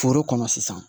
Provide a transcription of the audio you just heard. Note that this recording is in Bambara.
Foro kɔnɔ sisan